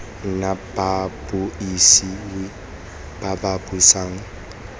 nna babuisi ba ba buisang